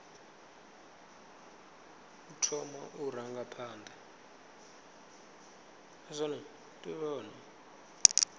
u thoma u ranga phanḓa